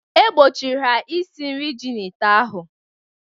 E gbochiri ha isi nri ji n’ite ahụ!.